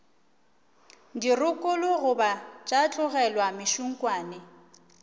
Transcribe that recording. dirokolo goba tša tlolelwa mešunkwane